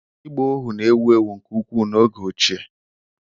Ịgba ohu na-ewu ewu nke ukwuu n'oge ochie